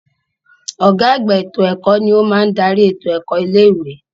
Ọ̀gá àgbà ètò ẹ̀kọ́ ni ó máa dárí ètò ẹ̀kọ́ ilé ìwé.